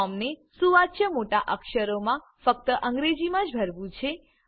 ફોર્મને સુવાચ્ય મોટા અક્ષરોમાં ફક્ત અંગ્રેજીમાં જ ભરવું છે